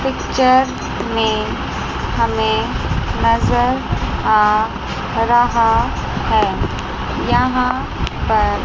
picture में हमें नजर आ रहा है यहां पर--